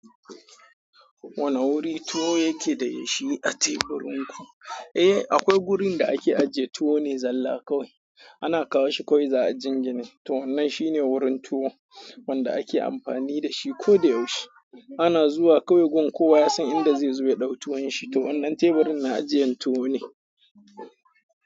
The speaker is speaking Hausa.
Wane wuri tuwo yake da ya shi a teburin ku? Eh, akwai gurin da ake ajiye tuwo ne zalla kawai. Ana kawo shi kawai za a jingine. To wannan shine wurin tuwo wanda ake amfani dashi koda yaushe. Ana zuwa kawai gun kowa ya san inda zai zo ya dau tuwon shi. To wannan teburin na ajiyan tuwo ne.